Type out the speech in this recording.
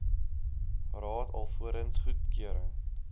raad alvorens goedkeuring